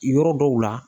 Yɔrɔ dɔw la